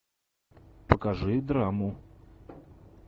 покажи драму